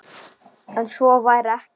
En svo væri ekki.